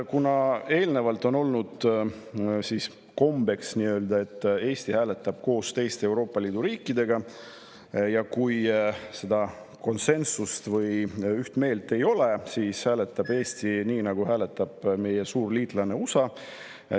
Varem on olnud kombeks, et Eesti hääletab teiste Euroopa Liidu riikidega või kui seda konsensust või ühte meelt ei ole, siis hääletab Eesti nii, nagu hääletab meie suur liitlane USA.